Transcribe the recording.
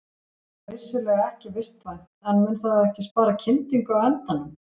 Það er vissulega ekki vistvænt en mun það ekki spara kyndingu á endanum?